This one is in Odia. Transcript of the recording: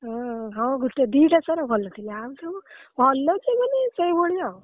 ଉଁ ହଁ ଗୋଟେ ଦି ଟା sir ଭଲଥିଲେ ଆଉ ସବୁ ଭଲ ଯେ ମାନେ ସେଇଭଳି ଆଉ।